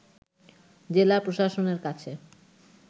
জেলা প্রশাসনের কাছে